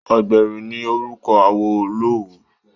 Ògbèré ni orúkọ awo Olówu